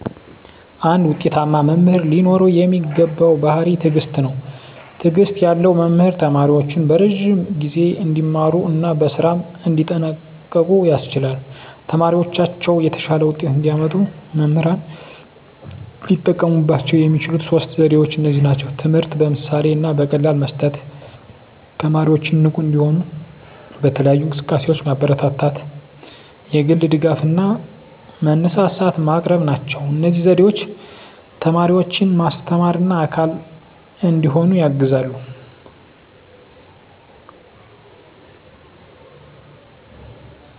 አንድ ውጤታማ መምህር ሊኖረው የሚገባው ባሕርይ ትዕግስት ነው። ትዕግስት ያለው መምህር ተማሪዎቹን በረዥም ጊዜ እንዲማሩ እና በስራም እንዲጠንቀቁ ያስችላል። ተማሪዎቻቸው የተሻለ ውጤት እንዲያመጡ መምህራን ሊጠቀሙባቸው የሚችሉት ሦስት ዘዴዎች እነዚህ ናቸው፦ ትምህርትን በምሳሌ እና በቀላል መስጠት፣ 2) ተማሪዎችን ንቁ እንዲሆኑ በተለያዩ እንቅስቃሴዎች ማበረታታት፣ 3) የግል ድጋፍ እና መነሳሳት ማቅረብ ናቸው። እነዚህ ዘዴዎች ተማሪዎችን ማስተማርና አካል እንዲሆኑ ያግዛሉ።